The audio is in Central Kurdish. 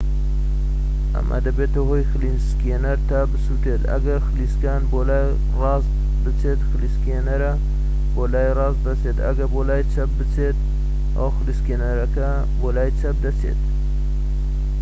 ئەمە دەبێتە هۆی خلیسکێنەر تا بسووڕێت ئەگەر خلیسکان بۆ لای ڕاست بچێت خلیسکێنەرە بۆ لای ڕاست دەچێت ئەگەر بۆ لای چەپ بخلیسکێت ئەوە خلیسکێنەرەکە بۆ لای چەپ دەچێت